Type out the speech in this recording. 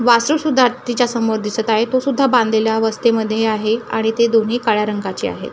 वासरू सुद्धा हत्तीच्या समोर दिसत आहे तो सुद्धा बांधलेल्या अवस्थेमध्ये आहे आणि ते दोन्ही काळ्या रंगाचे आहेत.